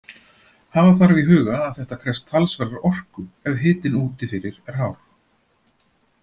Hafa þarf í huga að þetta krefst talsverðrar orku ef hitinn úti fyrir er hár.